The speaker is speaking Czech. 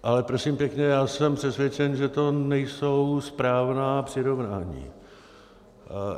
Ale prosím pěkně, já jsem přesvědčen, že to nejsou správná přirovnání.